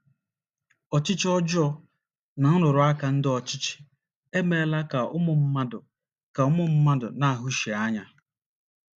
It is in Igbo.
Ọchịchị ọjọọ na nrụrụ aka ndị ọchịchị emeela ka ụmụ mmadụ ka ụmụ mmadụ na - ahụsi anya.